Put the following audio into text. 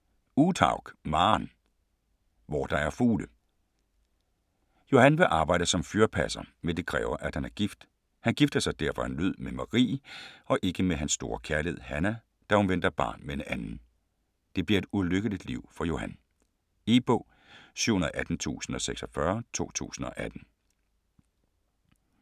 Uthaug, Maren: Hvor der er fugle Johan vil arbejde som fyrpasser, men det kræver at han er gift. Han gifter sig derfor af nød med Marie og ikke med hans store kærlighed, Hannah, da hun venter barn med en anden. Det bliver et ulykkeligt liv for Johan. E-bog 718046 2018.